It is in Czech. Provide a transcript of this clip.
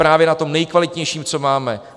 Právě na tom nejkvalitnějším, co máme!